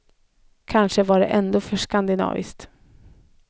Kanske var det ändå för skandinaviskt.